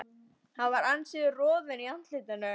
Hann var ansi rjóður í andliti.